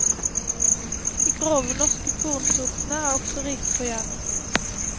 De grove norske kornsortene er også rike på jern.